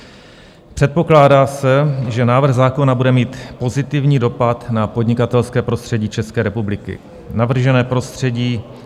Předpokládá se, že návrh zákona bude mít pozitivní dopad na podnikatelské prostředí České republiky.